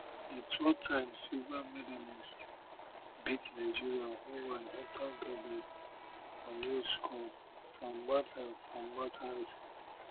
di twotime silver medallists beat nigeria o one afta gabi nunes score from martha from martha assist